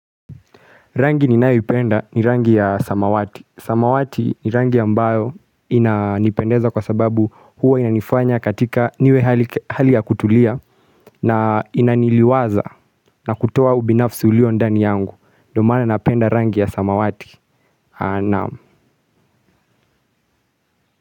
Rangi ninayoipenda ni rangi ya samawati. Samawati ni rangi ambayo inanipendeza kwa sababu huwa inanifanya katika niwe hali ya kutulia na inaniliwaza na kutoa ubinafsi ulio ndani yangu. Ndio maana napenda rangi ya samawati. Naam.